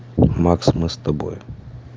макс мы с тобой